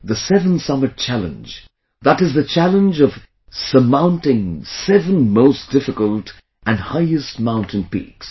The seven summit challenge...that is the challenge of surmounting seven most difficult and highest mountain peaks